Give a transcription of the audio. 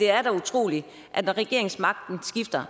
er utroligt at når regeringsmagten skifter